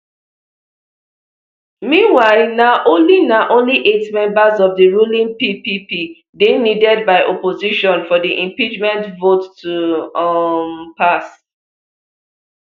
meanwhile na only na only eight members of di ruling ppp dey needed by opposition for di impeachment vote to um pass